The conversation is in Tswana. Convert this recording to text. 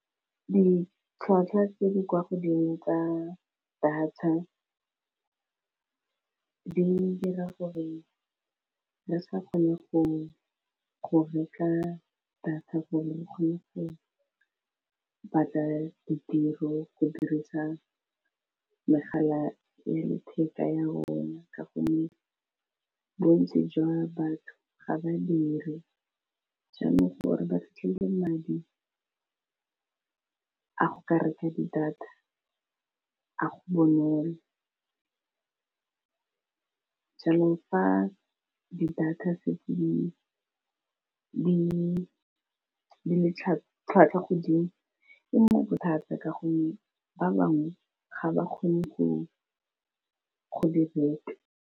Ditlhwatlhwa tse di kwa godimo tsa data di dira gore re sa kgone go reka data gore re kgone gore batla ditiro go dirisa megala ya letheka ya bone ka gonne bontsi jwa batho ga badiri jaanong gore ba fitlhele madi a go ka reka di data ha go bonolo jaanong fa di data di setse di le tlhwatlhwa godimo e mo bothata ka gonne ba bangwe ga ba kgone go di reka.